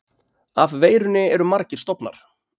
Af veirunni eru margir stofnar.